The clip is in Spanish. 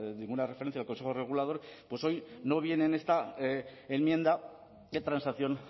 ninguna referencia al consejo regulador hoy no viene en esta enmienda de transacción